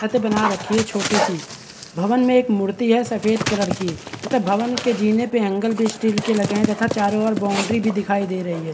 छत बना रखी हैं छोटी सी भवन में एक मूर्ति हैं सफ़ेद कलर की तथा भवन के जीने पे ऐंगल पे स्टील तथा चारो ओर बॉउन्ड्री भी दिखाई दे रही हैं।